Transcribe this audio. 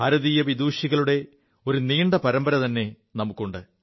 ഭാരതീയ വിദുഷികളുടെ ഒരു നീണ്ട പരമ്പരത െഉണ്ട്